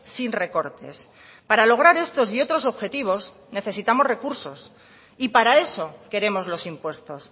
sin recortes para lograr estos y otros objetivos necesitamos recursos y para eso queremos los impuestos